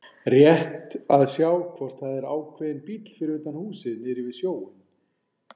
Rétt að sjá hvort það er ákveðinn bíll fyrir utan húsið niðri við sjóinn.